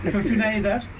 Kökü nə edər?